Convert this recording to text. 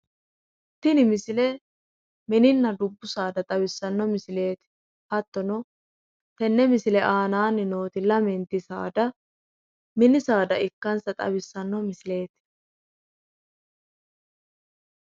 tini misile mininna dubbu saada xawissanno misileeti, hattono tenne misile aanaanni nooti lamenti saada mini saada ikkansa xawissanno misileeti.